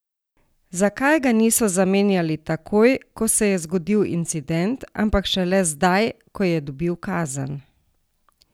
Zakaj ga niso zamenjali takoj, ko se je zgodil incident, ampak šele zdaj, ko je dobil kazen?